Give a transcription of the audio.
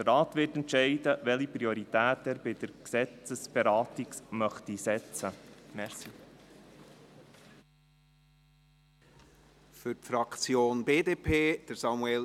Der Rat wird entscheiden, welche Prioritäten er bei der Gesetzesberatung setzen möchte.